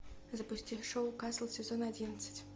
запусти шоу касл сезон одиннадцать